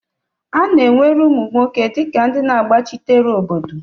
A na-ewere ụmụ nwoke dịka ndị na-agbachitere obodo.